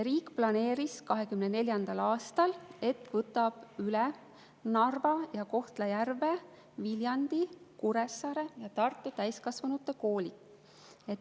Riik planeeris, et võtab 2024. aastal üle Narva, Kohtla-Järve, Viljandi, Kuressaare ja Tartu täiskasvanute koolid.